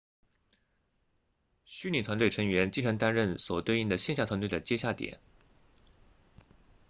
虚拟团队成员经常担任所对应的线下团队的接洽点